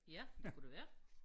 Ja det kunne det være